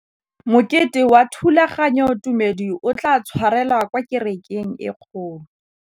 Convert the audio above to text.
Mokete wa thulaganyôtumêdi o tla tshwarelwa kwa kerekeng e kgolo.